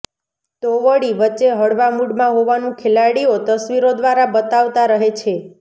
તો વળી વચ્ચે હળવા મૂડમાં હોવાનુ ખેલાડીઓ તસ્વીરો દ્રારા બતાવતા રહે છે